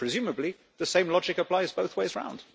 Presumably the same logic applies both ways round.